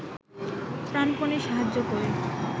প্রাণপণে সাহায্য করে